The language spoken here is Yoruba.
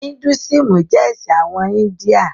Hidúísìmù jẹ́ ẹ̀sìn àwọn India.